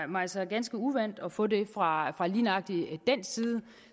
mig så ganske uvant at få det fra lige nøjagtig den side